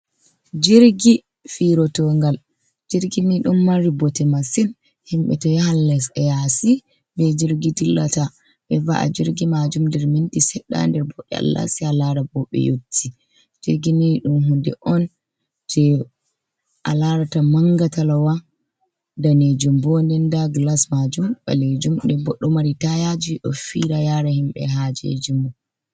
Jirgi fiirotoongal, jirgi nii ɗon mari bote masin, himɓe to yahan lesɗe yaasi bee jirgi ɓe dillata. Ɓe va''a jirgi maajum nder minti seɗɗa ha nder ɓaawɗe Allah see a laara bo ɓe yotti. Jirgi ni ɗum huunde on jey a laarata mannga talawa, daneejum bo. Nden ndaa "gilas" maajum ɓaleejum nden bo ɗo mari taayaaji ɗo fiira yaara himɓe haajeeji mum.